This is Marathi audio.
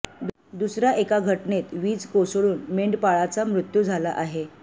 दुसऱ्या एका घटनेत वीज कोसळून मेंढपाळाचा मृत्यू झाला आहे